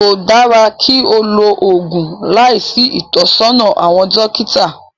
Kò dára kí á lo oògùn láìsí ìtọ́sọ́nà àwọn dókítà